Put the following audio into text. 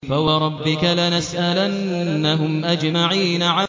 فَوَرَبِّكَ لَنَسْأَلَنَّهُمْ أَجْمَعِينَ